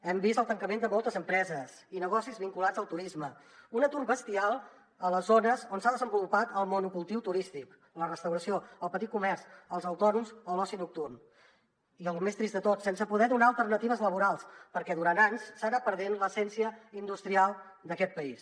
hem vist el tancament de moltes empreses i negocis vinculats al turisme un atur bestial a les zones on s’ha desenvolupat el monocultiu turístic la restauració el petit comerç els autònoms o l’oci nocturn i el més trist de tot sense poder donar alternatives laborals perquè durant anys s’ha anat perdent l’essència industrial d’aquest país